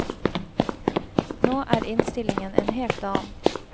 Nå er innstillingen en helt annen.